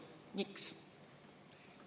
Miks?